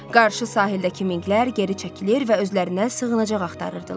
Qarşı sahildəki minqlər geri çəkilir və özlərinə sığınacaq axtarırdılar.